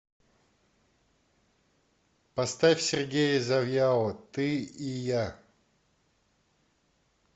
поставь сергея завьялова ты и я